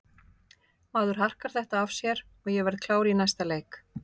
Maður harkar þetta af sér og ég verð klár í næsta leik.